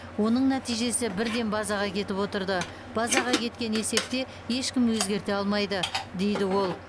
оның нәтижесі бірден базаға кетіп отырды базаға кеткен есепте ешкім өзгерте алмайды дейді ол